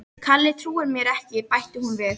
Kalli trúir mér ekki bætti hún við.